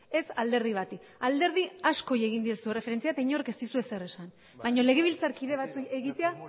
ez alderdi bati alderdi askori egin diezu erreferentzia eta inork ez dizu ezer esan baina legebiltzarkide batzuei egitea